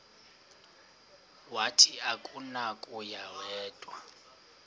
wathi akunakuya wedw